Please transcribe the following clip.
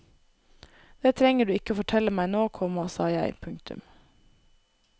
Det trenger du ikke fortelle meg nå, komma sa jeg. punktum